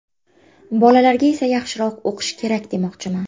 Bolalarga esa yaxshiroq o‘qish kerak, demoqchiman.